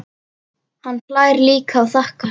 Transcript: Hann hlær líka og þakkar.